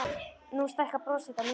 Nú stækkar bros þitt á myndinni.